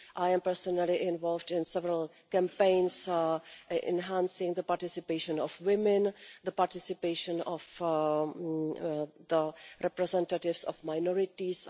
I am personally involved in several campaigns enhancing the participation of women and the participation of representatives of minorities.